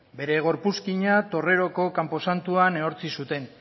bere gorpuzkina torreroko kanposantuan ehortzi zuten